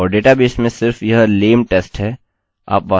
यह होता है जब लोग इसे डेटाबेस में सेट करते हैं